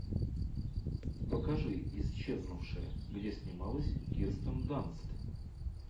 покажи исчезнувшая где снималась кирстен данст